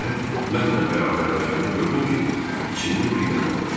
Nəhayət, mənlə bərabərləşəndə gördüm ki, içində bir nəfər oturub.